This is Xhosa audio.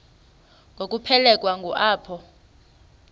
ngokuphelekwa ngu apho